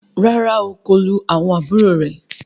Ràrá o, kò lù àwọn àbúrò rẹ.